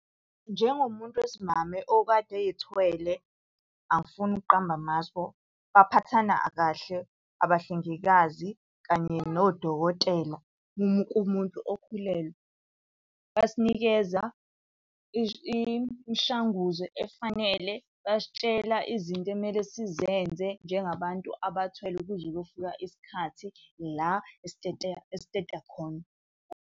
Njengomuntu wesimame okade ey'thwele angifuni ukuqamba amaspho, baphathana kahle abahlengikazi kanye nodokotela kumuntu okhulelwe. Basinikeza imishanguzo efanele, basitshela izinto ekumele sizenze njengabantu abathwele kuze kuyofika isikhathi la esiteta khona.